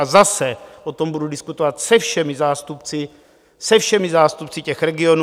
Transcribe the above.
A zase o tom budu diskutovat se všemi zástupci těch regionů.